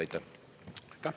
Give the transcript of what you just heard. Aitäh!